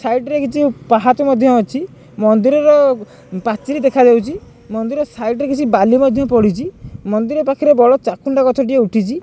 Side ରେ କିଛି ପାହଚ ମଧ୍ୟ ଅଛି। ମନ୍ଦିରର ପାଚେରି ଦେଖା ଯାଉଚି। ମନ୍ଦିର ସାଇଡ୍ ରେ କିଛି ବାଲି ମଧ୍ୟ ପଡ଼ିଚି। ମନ୍ଦିର ପାଖରେ ବଡ଼ ଚାକୁଣ୍ଡା ଗଛ ଟିଏ ଉଠିଚି।